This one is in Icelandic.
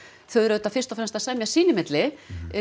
þau eru auðvitað fyrst og fremst að semja sín á milli